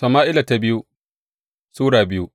biyu Sama’ila Sura biyu